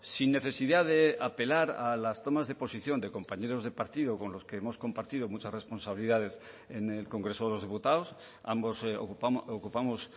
sin necesidad de apelar a las tomas de posición de compañeros de partido con los que hemos compartido muchas responsabilidades en el congreso de los diputados ambos ocupamos